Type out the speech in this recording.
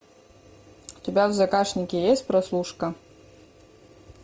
у тебя в загашнике есть прослушка